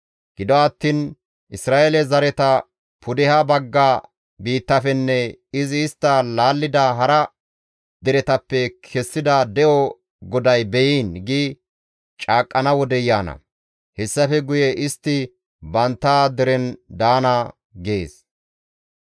Gido attiin, ‹Isra7eele zareta pudeha bagga biittafenne izi istta laallida hara deretappe kessida de7o GODAY be7iin› gi caaqqana wodey yaana; hessafe guye istti bantta deren daana» gees.